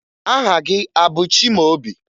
Aha gị a bụ Chimaobi?